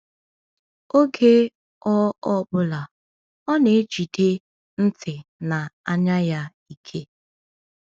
Oge ọ ọ bụla, ọ na-ejide ntị na anya ya ike.